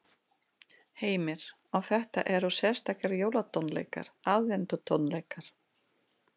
Heimir: Og þetta eru sérstakir jólatónleikar, aðventutónleikar?